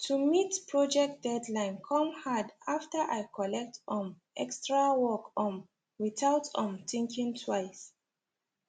to meet project deadline come hard after i collect um extra work um without um thinking twice